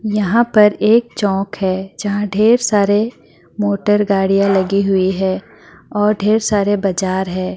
यहाँ पर एक चौक है जहाँ ढेर सारे मोटर गाड़ियां लगी हुई है और ढेर सारे बजार है।